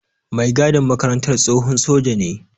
Mai gadin makarantar tsohon soja ne.